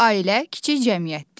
Ailələr kiçik cəmiyyətdir.